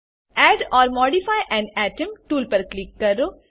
add or modify an atom tool પર click કરો